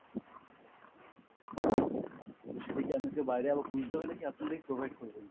সেটা কি আমাকে বাইরে আবার খুঁজতে হবে নাকি আপনারাই provide করবেন?